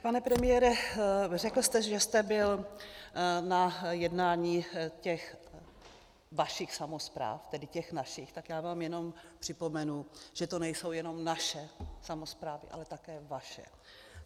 Pane premiére, řekl jste, že jste byl na jednání těch vašich samospráv, tedy těch našich, tak já vám jenom připomenu, že to nejsou jenom naše samosprávy, ale také vaše.